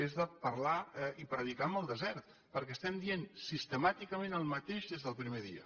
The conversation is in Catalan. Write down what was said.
és de parlar i predicar en el desert perquè estem dient sistemàticament el mateix des del primer dia